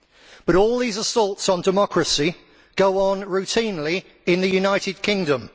But all these assaults on democracy go on routinely in the United Kingdom.